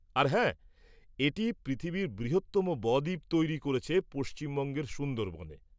আর হ্যাঁ, এটি পৃথিবীর বৃহত্তম ব-দ্বীপ তৈরি করেছে; পশ্চিমবঙ্গের সুন্দরবনে।